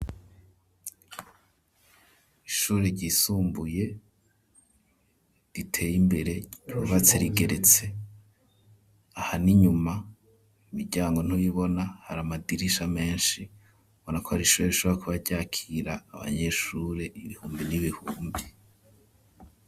Ishure ryisumbuye riteye imbere ryubatse rigeretse, aha n'inyuma imiryango ntuyibona har'amadirisha menshi, biboneka ko ar'ishuri rishobora kuba ryakira abanyeshure ibihumbi n'ibihumbi.